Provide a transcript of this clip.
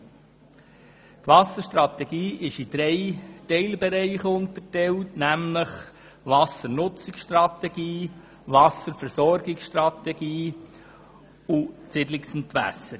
Die Wasserstrategie ist in drei Teilbereiche gegliedert: die Wassernutzungsstrategie, die Wasserversorgungsstrategie und die Siedlungsentwässerung.